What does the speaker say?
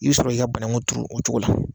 I bɛ sɔrɔ k'i ka banakun turu o cogo la.